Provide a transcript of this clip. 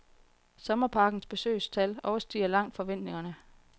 Sommerparkens besøgstal overstiger langt forventningerne.